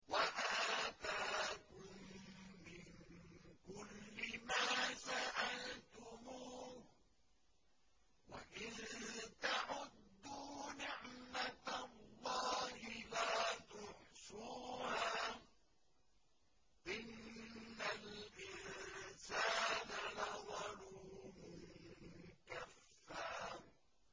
وَآتَاكُم مِّن كُلِّ مَا سَأَلْتُمُوهُ ۚ وَإِن تَعُدُّوا نِعْمَتَ اللَّهِ لَا تُحْصُوهَا ۗ إِنَّ الْإِنسَانَ لَظَلُومٌ كَفَّارٌ